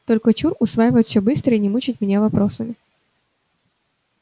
только чур усваивать всё быстро и не мучить меня вопросами